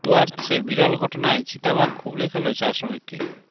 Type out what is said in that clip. ডুয়ার্সে বিরল ঘটনায় চিতা বাঘ খুবলে খেল চা শ্রমিককে